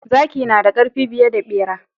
Zaki nada karfi fiye da bera.